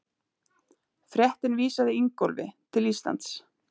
Fréttin vísaði Ingólfi til Íslands.